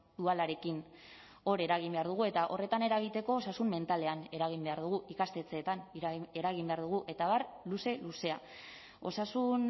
dualarekin hor eragin behar dugu eta horretan eragiteko osasun mentalean eragin behar dugu ikastetxeetan eragin behar dugu eta abar luze luzea osasun